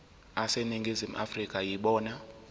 aseningizimu afrika yibona